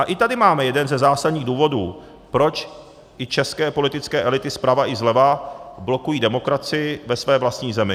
A i tady máme jeden ze zásadních důvodů, proč i české politické elity zprava i zleva blokují demokracii ve své vlastní zemi.